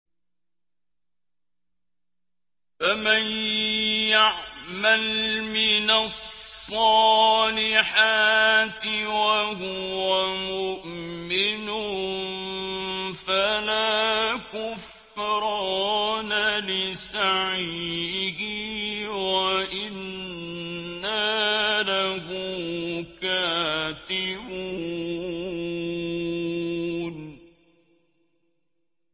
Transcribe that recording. فَمَن يَعْمَلْ مِنَ الصَّالِحَاتِ وَهُوَ مُؤْمِنٌ فَلَا كُفْرَانَ لِسَعْيِهِ وَإِنَّا لَهُ كَاتِبُونَ